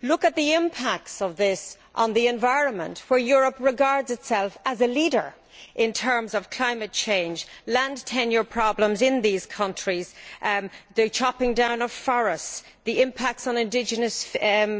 Look at the impacts of this on the environment, where Europe regards itself as a leader in terms of climate change, land tenure problems in these countries, the chopping down of forests, the impact on indigenous